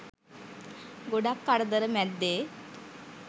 ගොඩක් කරදර මැද්දෙ